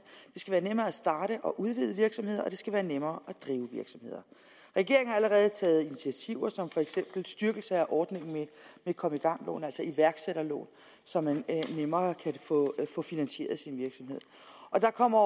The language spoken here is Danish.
skal være nemmere at starte og udvide virksomheder og det skal være nemmere at drive virksomheder regeringen har allerede taget initiativer som for eksempel en styrkelse af ordningen med kom i gang lån altså iværksætterlån så man nemmere kan få finansieret sin virksomhed og der kommer